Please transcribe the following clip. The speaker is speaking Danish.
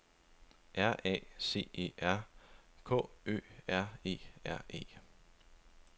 R A C E R K Ø R E R E